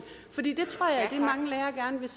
er